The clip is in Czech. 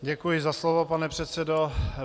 Děkuji za slovo, pane předsedo.